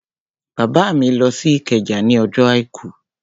Bàbá mi lọ sí Ìkẹjà ní ọjọ́ àìkú